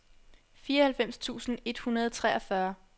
fireoghalvfems tusind et hundrede og treogfyrre